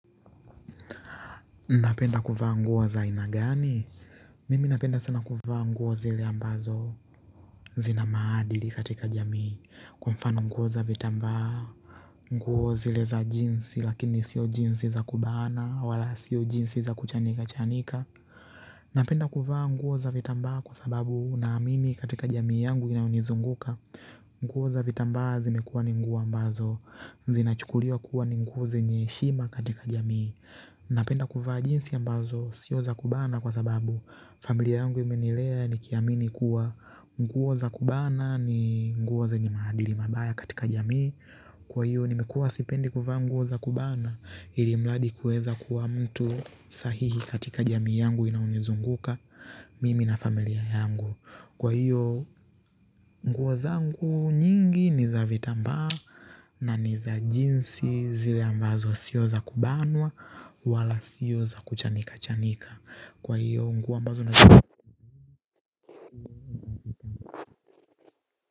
Napenda kuvaa nguo za aina gani? Mimi napenda sana kuvaa nguo zile ambazo zina maadili katika jamii kwa mfano nguo za vitambaa zile za jeans lakini sio jeans za kubana wala sio jeans za kuchanika chanika napenda kuvaa nguo za vitambaa kwa sababu naamini katika jamii yangu inayonizunguka nguo za vitambaa zimekuwa ni nguo ambazo zinachukuliwa kuwa ni nguo zenye heshima katika jamii napenda kuvaa jeans ambazo sio za kubana kwa sababu familia yangu imenilea nikiamini kuwa nguo za kubana ni nguo zenye maadili mabaya katika jamii kwa hiyo nimekua sipendi kuvaa nguo za kubana ili mradi kueza kuwa mtu sahihi katika jamii yangu inayonizunguka mimi na familia yangu kwa hiyo nguo zangu nyingi ni za vitambaa na ni za jeans zile ambazo siyo za kubanwa wala siyo za kuchanikachanika kwa hiyo nguo ambazo na.